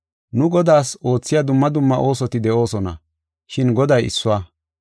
Nu Godaas oothiya dumma dumma oosoti de7oosona, shin Goday issuwa.